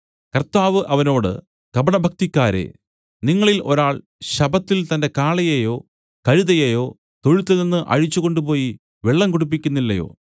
കർത്താവ് അവനോട് കപടഭക്തിക്കാരേ നിങ്ങളിൽ ഒരാൾ ശബ്ബത്തിൽ തന്റെ കാളയെയോ കഴുതയെയോ തൊഴുത്തിൽനിന്നു അഴിച്ച് കൊണ്ടുപോയി വെള്ളം കുടിപ്പിക്കുന്നില്ലയോ